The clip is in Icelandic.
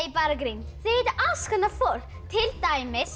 bara grín þeir hittu alls konar fólk til dæmis